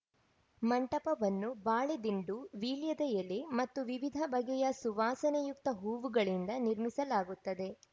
ಮಂಟಪವನ್ನು ಬಾಳೆ ದಿಂಡು ವೀಳ್ಯದ ಎಲೆ ಮತ್ತು ವಿವಿಧ ಬಗೆಯ ಸುವಾಸನೆಯುಕ್ತ ಹೂವುಗಳಿಂದ ನಿರ್ಮಿಸಲಾಗುತ್ತದೆ